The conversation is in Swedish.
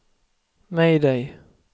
mayday